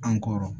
An kɔrɔ